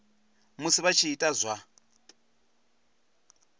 musi vha tshi ita zwa